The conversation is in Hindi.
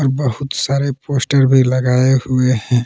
बहुत सारे पोस्टर भी लगाए हुए है।